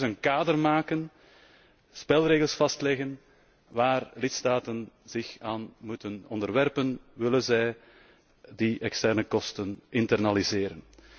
We willen dus een kader maken, spelregels vastleggen, waar lidstaten zich aan moeten onderwerpen, willen zij die externe kosten internaliseren.